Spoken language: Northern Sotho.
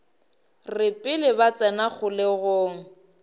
re pele ba tsena kgolegong